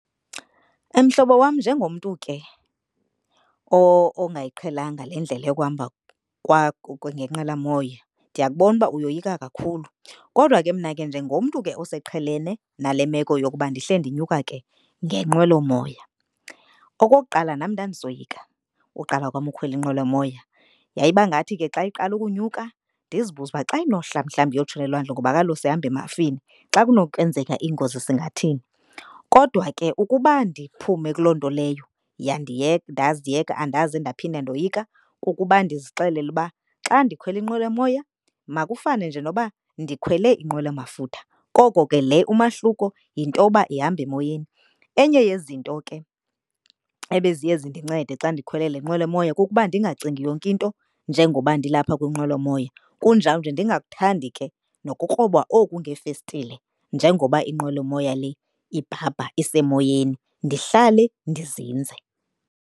Mhlobo wam njengomntu ke ongayiqhelanga le ndlela yokuhamba ngenqwelomoya ndiyakubona uba uyoyika kakhulu. Kodwa ke mna ke njengomntu ke oseqhelene nale meko yokuba ndihle ndinyuka ke ngenqwelomoya. Okokuqala, nam ndandisoyika uqala kwam ukhwela inqwelomoya, yayiba ngathi ke xa iqala ukunyuka ndizibuze uba xa inohla mhlawumbi iyotshona elwandle ngoba kaloku sihamba emafini. Xa kunokwenzeka ingozi singathini. Kodwa ke ukuba ndiphume kuloo nto leyo ndaziyeka andaze ndaphinda ndoyika kukuba ndizixelele uba xa ndikhwele inqwelomoya makufane nje noba ndikhwele inqwelomafutha koko ke le umahluko yintoba ihamba emoyeni. Enye yezinto ke ebeziya zindincede xa ndikhwele le nqwelomoya kukuba ndingacingi yonke into njengoba ndilapha kwinqwelomoya kunjawunje ndingakuthandi ke nokukroba oku ngeefestile njengoba inqwelomoya le ibhabha isemoyeni ndihlale ndizinze.